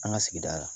An ka sigida la